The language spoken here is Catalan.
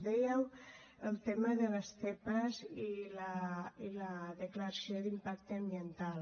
dèieu el tema de les zepa i la declaració d’impacte ambiental